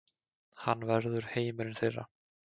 Hann verður heimurinn þeirra.